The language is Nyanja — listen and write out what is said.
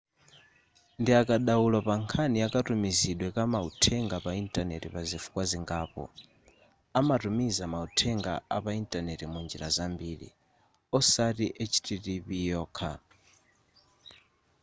ndiakadaulo pa nkhani ya katumizidwe ka mauthenga pa intaneti pazifukwa zingapo amatumiza mauthenga apa intaneti munjira zambiri osati http yokha